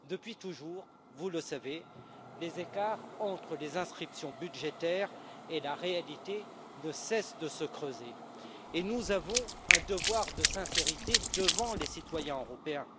Depuis toujours, vous le savez, les écarts entre les inscriptions budgétaires et la réalité ne cessent de se creuser et nous avons un devoir de sincérité envers les citoyens européens.